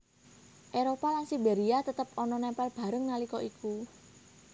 Éropah lan Siberia tetep ana nempel bareng nalika iku